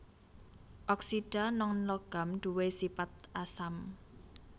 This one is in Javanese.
Oksida nonlogam duwé sipat asam